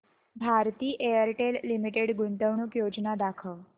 Bharti Airtel limited गुंतवणूक योजना दाखव